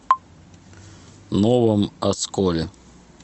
новом осколе